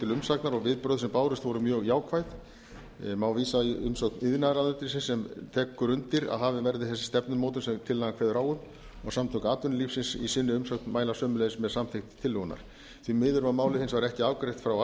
til umsagnar og viðbrögð sem bárust voru mjög jákvæð má vísa í umsögn iðnaðarráðuneytisins sem tekur undir að hafin verði þessi stefnumótun sem tillagan kveður á um og samtök atvinnulífsins í sinni umsögn mæla sömuleiðis með samþykkt tillögunnar því miður var málið hins vegar ekki afgreitt frá